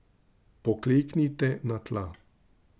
Pokleknite na tla.